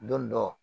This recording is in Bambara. Don dɔ